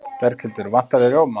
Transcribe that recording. Berghildur: Vantar þig rjóma?